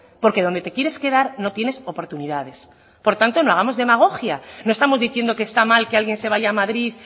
porque donde te quieres quedar no tienes oportunidades por tanto no hagamos demagogia no estamos diciendo que está mal que alguien se vaya a madrid